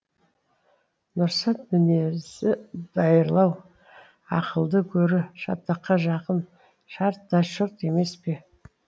нұрсат мінезі дайырлау ақылды гөрі шатаққа жақын шарт та шұрт емес пе